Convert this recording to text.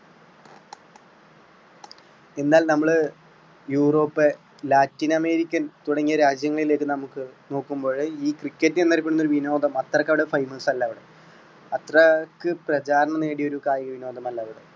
എന്നാൽ നമ്മൾ Europe, latin american തുടങ്ങിയ രാജ്യങ്ങളിലേക്ക് നമുക്ക് നോക്കുമ്പോഴ് ഈ cricket എന്ന് അറിയപ്പെടുന്ന ഈ വിനോദം അത്രയ്ക്കങ്ങട് famous അല്ല അവിടെ അത്രയ്ക്ക് പ്രചാരണം നേടിയ ഒരു കായികവിനോദം അല്ല അവിടെ